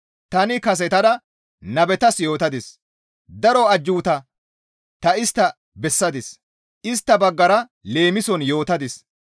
«Tani kasetada nabetas yootadis; daro ajjuuta ta istta bessadis; istta baggara leemison yootadis.